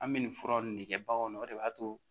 An bɛ nin fura ninnu de kɛ baganw na o de b'a to